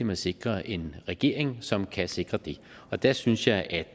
man sikrer en regering som kan sikre det og der synes jeg at